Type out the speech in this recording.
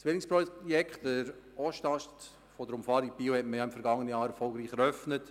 Das Zwillingsprojekt, der Ostast der Umfahrung Biel, hat man im vergangenen Jahr erfolgreich eröffnet.